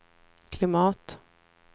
klimat